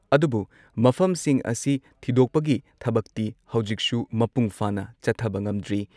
ꯑꯗꯨꯕꯨꯨ ꯃꯐꯝꯁꯤꯡ ꯑꯁꯤ ꯊꯤꯗꯣꯛꯄꯒꯤ ꯊꯕꯛꯇꯤ ꯍꯧꯖꯤꯛꯁꯨ ꯃꯄꯨꯡꯐꯥꯅ ꯆꯠꯊꯕ ꯉꯝꯗ꯭ꯔꯤ ꯫